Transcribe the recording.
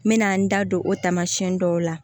N mɛna n da don o tamasiyɛn dɔw la